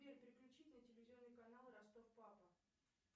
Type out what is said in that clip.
сбер переключить на телевизионный канал ростов папа